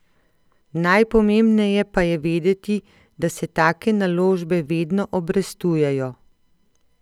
Najpomembneje pa je vedeti, da se take naložbe vedno obrestujejo.